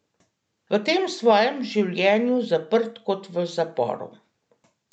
V tem svojem življenju zaprt kot v zaporu.